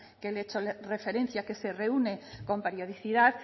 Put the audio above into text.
que le he hecho referencia que se reúne con periodicidad